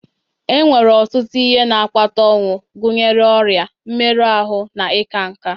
Enwere ọtụtụ ihe na-akpata ọnwụ, gụnyere ọrịa, mmerụ ahụ, na ịka nká